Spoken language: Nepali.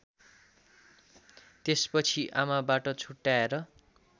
त्यसपछि आमाबाट छुट्याएर